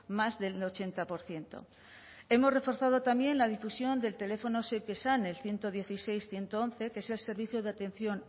más del ochenta por ciento hemos reforzado también la difusión del teléfono zeuk esan el ciento dieciséis ciento once que es el servicio de atención